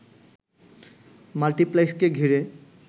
মাল্টিপ্লেক্সকে ঘিরে